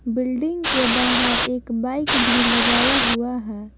Building के बाहर एक बाइक भी लगाया हुआ है।